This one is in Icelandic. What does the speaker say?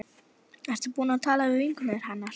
Ertu búin að tala við vinkonur hennar?